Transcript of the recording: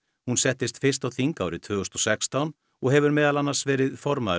hún settist fyrst á þing árið tvö þúsund og sextán og hefur meðal annars verið formaður